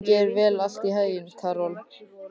Gangi þér allt í haginn, Karol.